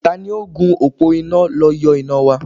Tani ó gùn òpó iná lọ yọ iná wa?